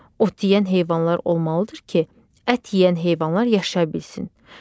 Ot yeyən heyvanlar olmalıdır ki, ət yeyən heyvanlar yaşaya bilsin.